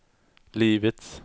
livets